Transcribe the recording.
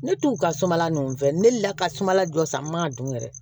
Ne t'u ka sumala nɔfɛ ne deli la ka sumala dɔ san n ma ka dun yɛrɛ